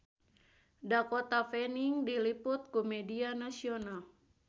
Dakota Fanning diliput ku media nasional